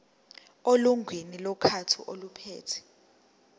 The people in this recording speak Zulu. elungwini lomkhandlu ophethe